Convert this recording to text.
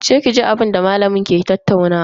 Je ki ji abinda malamin ke tattaunawa.